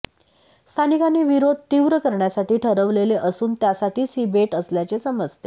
स्थानिकांनी विरोध तीव्र करण्यासाठी ठरवले असून त्यासाठीच ही भेट असल्याचे समजते